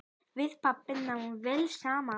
Við pabbi náðum vel saman.